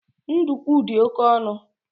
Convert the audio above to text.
Ndukwu di oke onu